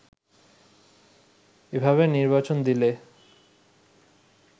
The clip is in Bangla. এভাবে নির্বাচন দিলে